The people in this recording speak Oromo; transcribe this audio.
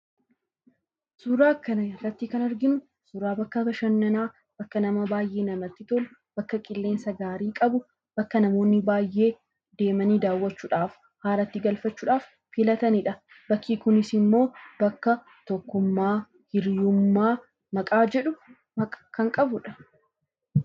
Suuraa kana irratti kan arginu suuraa bakka bashannanaa, bakka baay'ee namatti tolu, bakka qilleensa gaarii qabu, bakka namoonni baay'ee deemanii daawwachuudhaaf, aara itti galfachuudhaaf filatanidha. Bakki kunis immoo paarkii Hiriyyummaa jedhamuun beekama.